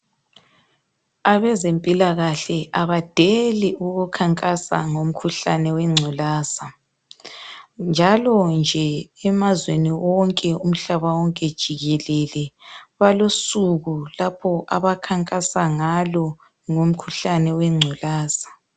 Abezempilakahle abadeli ukukhankasa ngomkhuhlane owengculaza njalo nje emazweni wonke umhlaba wonke jikelele balosuku lapho abakhankasa ngalo ngomkhuhlane wengculaza.